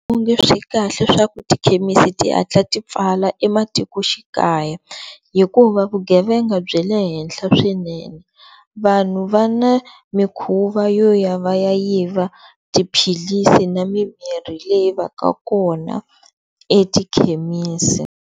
swikahle swa ku tikhemisi tihatla ti pfala ematikoxikaya hikuva vugevenga byi le henhla swinene vanhu va na mikhuva yo ya va ya yiva tiphilisi na mimirhi leyi va ka kona etikhemisi.